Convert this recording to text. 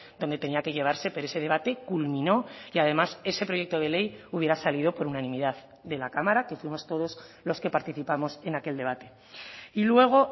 donde tenía que llevarse pero ese debate culminó y además ese proyecto de ley hubiera salido por unanimidad de la cámara que fuimos todos los que participamos en aquel debate y luego